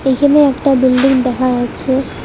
এখানে একটা বিল্ডিং দেখা যাচ্ছে।